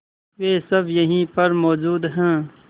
वे सब यहीं पर मौजूद है